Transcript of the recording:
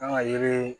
Kan ka yiri